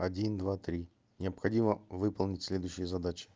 один два три необходимо выполнить следующие задачи